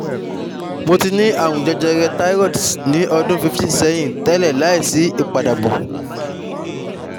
Mo ti ni àrùn jẹjẹrẹ thyroid ní ọdún fifteen sẹ́yìn tele láìsí ipadabo